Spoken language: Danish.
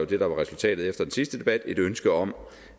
det der var resultatet efter den sidste debat et ønske om